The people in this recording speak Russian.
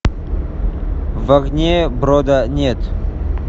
в огне брода нет